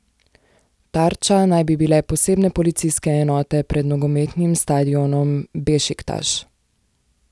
Tarča naj bi bile posebne policijske enote pred nogometnim stadionom Bešiktaš.